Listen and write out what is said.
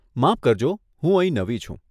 માફ કરજો, હું અહીં નવી છું.